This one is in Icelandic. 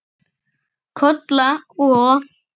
Kolla og